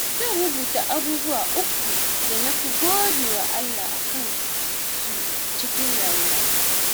Zan rubuta abubuwa uku da na fi gode wa Allah a kansu cikin rayuwata.